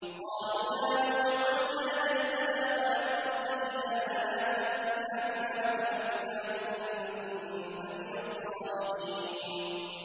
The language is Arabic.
قَالُوا يَا نُوحُ قَدْ جَادَلْتَنَا فَأَكْثَرْتَ جِدَالَنَا فَأْتِنَا بِمَا تَعِدُنَا إِن كُنتَ مِنَ الصَّادِقِينَ